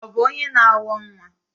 Ọ bụ onye na awọ nwa?